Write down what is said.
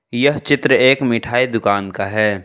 यह चित्र एक मिठाई दुकान का है।